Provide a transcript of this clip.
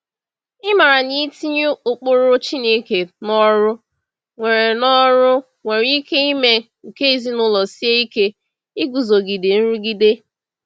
Ịmara na itinye ụkpụrụ Chineke n’ọrụ nwere n’ọrụ nwere ike ime ka ezinụlọ sie ike iguzogide nrụgide.